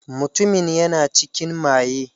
Mutumin yana cikin maye.